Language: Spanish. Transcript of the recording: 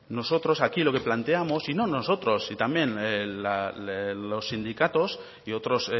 nosotros aquí lo que planteamos y no nosotros también los sindicatos y otros